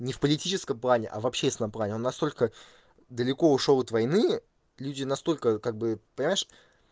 не в политическом плане а в общественном плане он настолько далеко ушёл от войны люди настолько как бы понимаешь